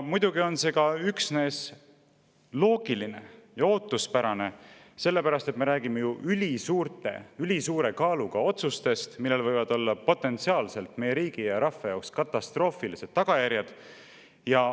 Muidugi on see loogiline ja ootuspärane, sellepärast et me räägime ju ülisuure kaaluga otsustest, millel võivad olla potentsiaalselt meie riigi ja rahva jaoks katastroofilised tagajärjed.